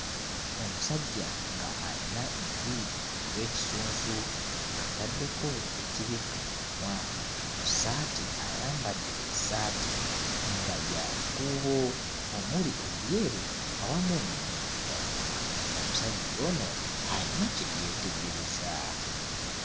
Omusajja ng'ayina enviiri ez'ekisunsu, ataddeko ekibikka ku mumwa. Ku ssaati ayambadde essaati nga ya bikuubo omuli ebyeru awamu n'ebiddugavu, omusajja ono ayina kye yeetegereza.